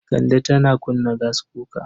Kande tana kunna gaskuka.